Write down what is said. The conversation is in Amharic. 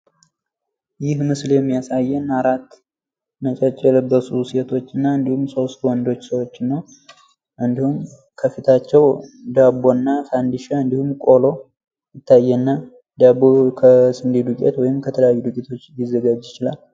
ይህ ምስል የሚያሳየን አራት ነጭ የለበሱ ሴቶችና እንዲሁም ሶስት ወንዶች፣ ከፍታቸው ዳቦ፣ ፈንዲሻ እና ቆሎ ይታያል። ዳቦው ከስንዴ ዱቄት ወይም ከተለያዩ ዱቄቶች ሊዘጋጅ ይችላል።